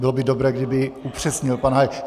Bylo by dobré, kdyby upřesnil pan Hájek.